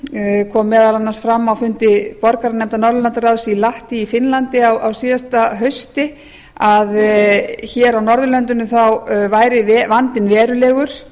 norðurlandaráðsvettvangi kom meðal annars fram á fundi borgaranefndar norðurlandaráðs í lahti á finnlandi á síðasta hausti að hér á norðurlöndunum væri vandinn verulegur